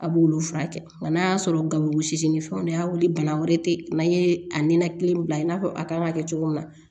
A b'olu furakɛ nka n'a y'a sɔrɔ gawo sizi ni fɛnw de y'a wuli bana wɛrɛ te yen n'a ye a ninakili bila i n'a fɔ a kan ŋa kɛ cogo min na